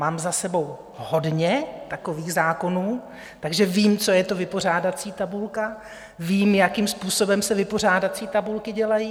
Mám za sebou hodně takových zákonů, takže vím, co je to vypořádací tabulka, vím, jakým způsobem se vypořádací tabulky dělají.